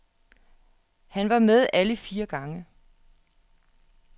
Han var med alle fire gange.